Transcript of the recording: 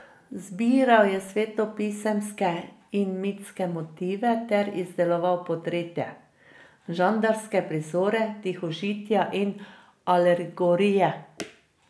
Izbiral je svetopisemske in mitske motive ter izdeloval portrete, žanrske prizore, tihožitja in alegorije.